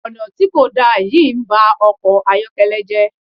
Ọ̀nà tí kò da yìí ń ba ọkọ̀ ayọ́kẹ́lẹ́ jẹ́.